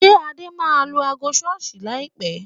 Ṣé Adé máa lu aago ṣọ́ọ́ṣì láìpé?